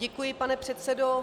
Děkuji, pane předsedo.